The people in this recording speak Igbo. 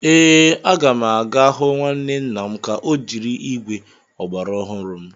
Ee, a ga m aga hụ nwanne nna m ka o jiri ígwè ọgbara ọhụrụ m.